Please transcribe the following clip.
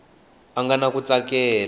a nga na ku tsakela